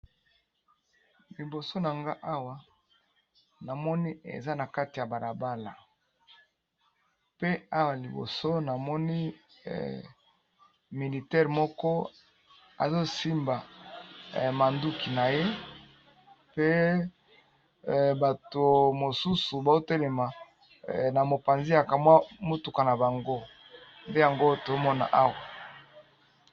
Liboso na nga awa namoni eza nakati ya balabala namoni militaire asimbi munduki naye pe bato mosusu batelemi na mopanzi ya mutuka na bango.